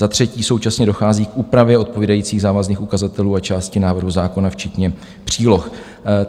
Za třetí současně dochází k úpravě odpovídajících závazných ukazatelů a části návrhu zákona včetně příloh.